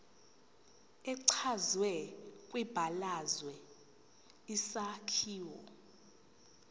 echazwe kwibalazwe isakhiwo